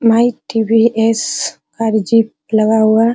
माइ TVS. Car jeep लगा हुआ है।